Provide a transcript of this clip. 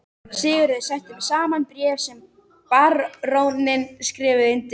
Sigurður setti saman bréf sem baróninn skrifaði undir.